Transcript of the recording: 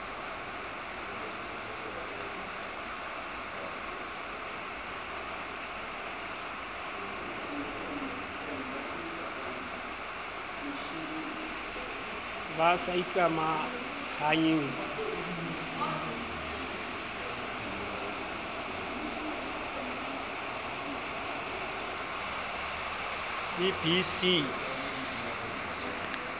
ba sa ikamahanyeng le bcea